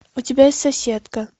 у тебя есть соседка